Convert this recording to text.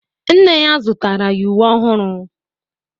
Nne ya zụtara ya uwe ọhụrụ.